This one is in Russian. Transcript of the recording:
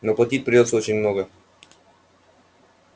но платить придётся очень много